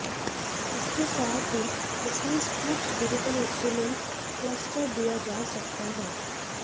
इसके साथ ही इसमें स्प्लिट डिजिटल इंस्ट्रूमेंट क्लस्टर दिया जा सकता है